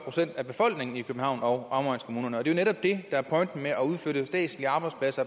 procent af befolkningen i københavn og omegnskommunerne og det er jo netop det der er pointen med at udflytte statslige arbejdspladser